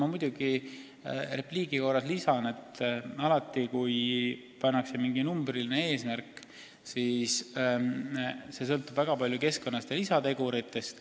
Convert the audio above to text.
Aga ma repliigi korras lisan, et alati, kui seatakse mingi numbriline eesmärk, siis see sõltub väga palju keskkonnast ja muudest lisateguritest.